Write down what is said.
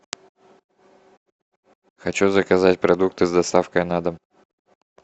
хочу заказать продукты с доставкой на дом